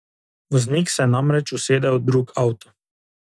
Voznik se je namreč usedel v drug avto.